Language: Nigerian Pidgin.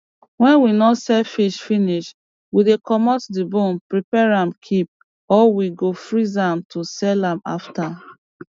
wen we no sell fish finish we dey comot di bone prepare am keep or we go freeze am to sell am after